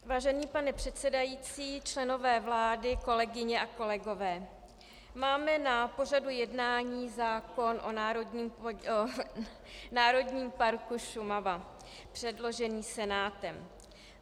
Vážený pane předsedající, členové vlády, kolegyně a kolegové, máme na pořadu jednání zákon o Národním parku Šumava předložený Senátem.